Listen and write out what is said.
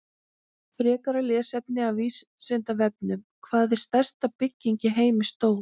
Frekra lesefni af Vísindavefnum: Hvað er stærsta bygging í heimi stór?